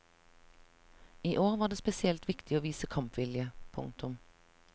I år var det spesielt viktig å vise kampvilje. punktum